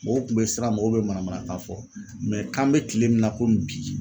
Mɔgɔw kun be siran mɔgɔw be manamanakan fɔ k'an bɛ kile min na bi